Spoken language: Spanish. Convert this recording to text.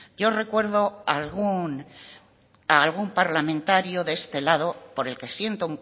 yo recuerdo algún parlamentario de este lado por el que siento